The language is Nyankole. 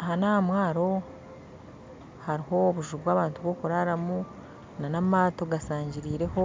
Aha n'ahamwaro hariho obuju bw'abantu bwokuraramu n'amato gashangirireho